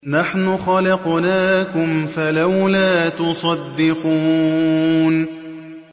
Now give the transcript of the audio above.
نَحْنُ خَلَقْنَاكُمْ فَلَوْلَا تُصَدِّقُونَ